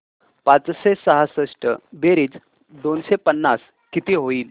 पाचशे सहासष्ट बेरीज दोनशे पन्नास किती होईल